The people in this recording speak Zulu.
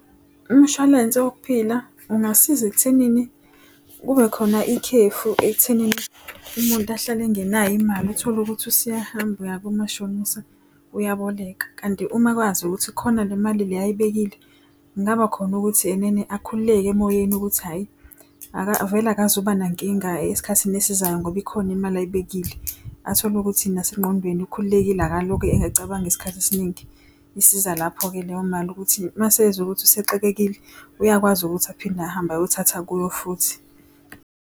Umshwalense wokuphila ungasiza ekuthenini kube khona ikhefu ekuthenini umuntu ahlale engenayo imali utholukuthi usuyahamba uya komashonisa, uyabholeka. Kanti uma kwazi ukuthi khona le mali le ayibekile, kungaba khona ukuthi enene akhululeke emoyeni ukuthi hhayi vele akazubanankinga esikhathini esizayo ngoba ikhona imali ayibekile. Athole ukuthi nasengqondweni ukhululekile akalokhe ecabanga isikhathi esiningi. Isiza lapho-ke leyo mali ukuthi mase ezwa ukuthi usexakekile, uyakwazi ukuthi aphinde ahambe ayothatha kuyo futhi.